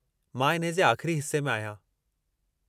मां इन्हे जे आख़िरी हिस्से में आहियां।